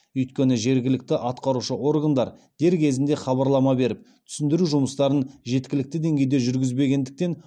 өйткені жергілікті атқарушы органдар дер кезінде хабарлама беріп түсіндіру жұмыстарын жеткілікті деңгейде жүргізбегендіктен